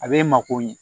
A bɛ mako ɲɛ